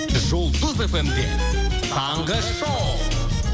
жұлдыз фм де таңғы шоу